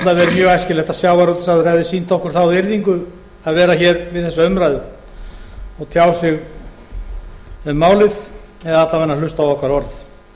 hefði meiri mjög æskilegt að sjávarútvegsráðherra hefði sýnt okkur þá virðingu að vera við þessa umræðu og tjá sig um málið eða alla vega hlusta á okkar orð